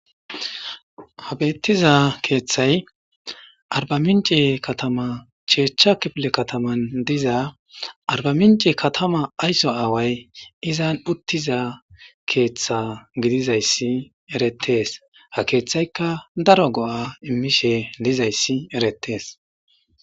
ha beettiza keeththay arba minci katama cheechcha kifile kataman diza arba minci katama aysso aaway izan uttiza keeththa gidizayssi erettees ha keeththayka daro go7a immishe lizayssi erettees